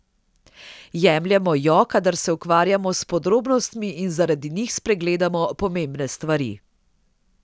Jemljemo jo, kadar se ukvarjamo s podrobnostmi in zaradi njih spregledamo pomembne stvari.